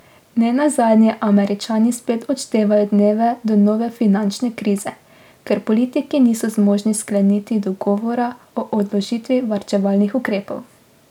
Ne nazadnje Američani spet odštevajo dneve do nove finančne krize, ker politiki niso zmožni skleniti dogovora o odložitvi varčevalnih ukrepov.